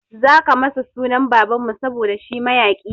Zaka sa masa sunan baban mu saboda shi mayaƙi ne